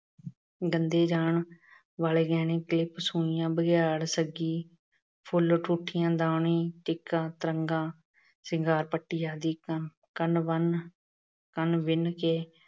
ਦੰਦੇ ਜਾਣ ਵਾਲੇ ਗਹਿਣੇ ਤੇ ਸੂਈਆਂ, ਬੜਿਆਲ, ਸੱਗੀ ਫੁੱਲ, ਠੂਠੀਆਂ, ਦਾਣੇ, ਟਿੱਕਾ, ਤਰੰਗਾ, ਸ਼ਿੰਗਾਰ ਪੱਟੀ ਆਦਿ। ਕੰਨ ਬੰਨ ਅਹ ਕੰਨ ਬਿੰਨ ਕੇ